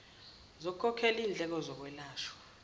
zokukhokhela indleko zokwelashwa